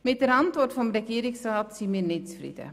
Mit der Antwort des Regierungsrats sind wir nicht zufrieden.